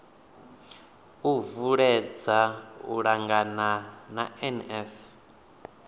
u uuwedza u angana na nf